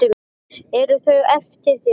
Eru þau eftir þig?